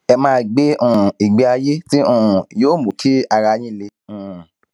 ẹ máa gbé um ìgbé ayé tí um yóò mú kí ara yín le um